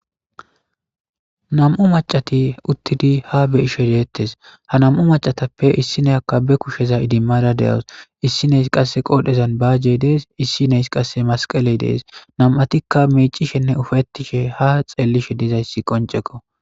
Nam7u maccathi uththidi haa be7ishee deeththes; ha nam7u maccathappe issinniyakka be kushe izimmada de7awus; issidhes qassi qodheezan baajee dees; issi na7es qassi masqqalee de7ees; nam7athikka miiccishenne ufayththishe haa tseellishe dizayssi qonccekko.